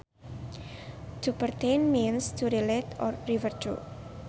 To pertain means to relate or refer to